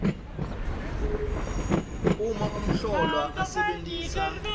uma umhlolwa asebentisa